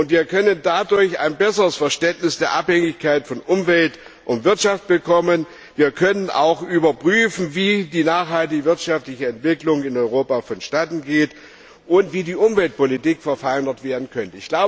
Dadurch können wir ein besseres Verständnis der Abhängigkeit von Umwelt und Wirtschaft bekommen. Wir können auch überprüfen, wie die nachhaltige wirtschaftliche Entwicklung in Europa vonstatten geht und wie die Umweltpolitik verfeinert werden könnte.